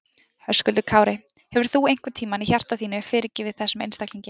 Höskuldur Kári: Hefur þú einhvern tímann í hjarta þínu fyrirgefið þessum einstaklingi?